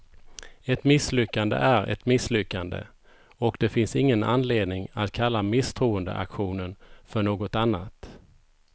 Ett misslyckande är ett misslyckande, och det finns ingen anledning att kalla misstroendeaktionen för något annat.